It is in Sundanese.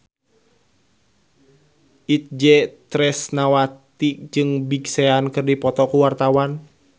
Itje Tresnawati jeung Big Sean keur dipoto ku wartawan